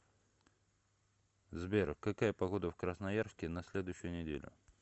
сбер какая погода в красноярске на следующую неделю